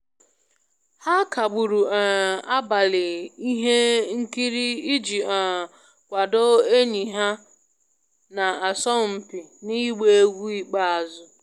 Ha kagburu um abalị ihe nkiri iji um kwado enyi ha na-asọ mpi n'agba egwu ikpeazụ